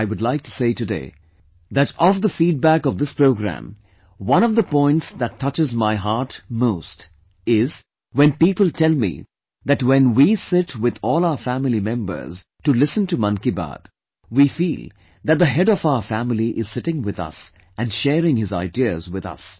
I would like to say today that of the feedback of this programme, one of the points that touches my heart most is when people tell me that when we sit with all our family members to listen to Mann Ki Baat, we feel that the head of our family is sitting with us and sharing his ideas with us